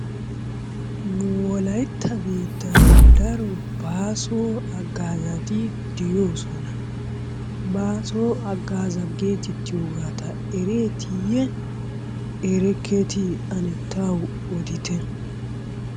Nu wolaytta biittan daro bàaso haggaazati de'oosona. Bàaso haggaaza geetettiyageeta ereetiiyye erekketii ane tawu odite?